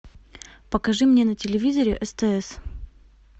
покажи мне на телевизоре стс